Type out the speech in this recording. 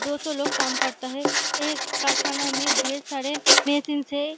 दो सौ लोग काम करता है एक कारखाना में ढेर सारे बेसिन्स है।